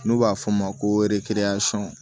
N'u b'a f'o ma ko